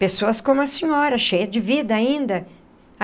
Pessoas como a senhora, cheia de vida ainda.